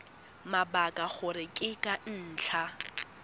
mabaka gore ke ka ntlha